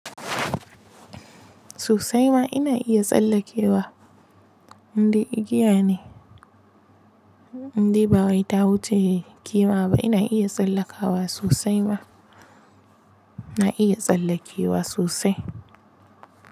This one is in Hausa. Susai ma ina iya tsallakewa, indai igiya ne, indai ba wai ta wuce kima ba ina iya tsallakawa sosai ma. Na iya tsallakewa sosai.